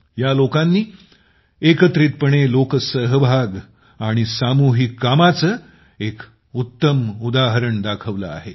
या लोकांनी एकत्रितपणे लोकसहभाग आणि सामूहिक कामाचे एक उत्तम उदाहरण दाखवले आहे